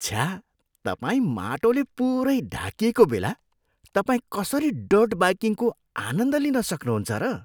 छ्या। तपाईँ माटोले पुरै ढाकिएको बेला तपाईँ कसरी डर्ट बाइकिङको आनन्द लिनुसक्नु हुन्छ र?